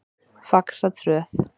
Faxatröð